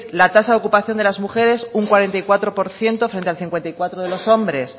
la tasa de ocupación de las mujeres un cuarenta y cuatro por ciento frente al cincuenta y cuatro por ciento de los hombres